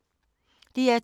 DR2